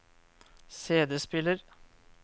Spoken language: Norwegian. CD-spiller